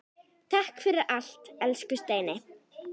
Takk fyrir allt, elsku Steini.